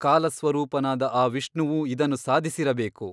ಕಾಲಸ್ವರೂಪನಾದ ಆ ವಿಷ್ಣುವು ಇದನ್ನು ಸಾಧಿಸಿರಬೇಕು.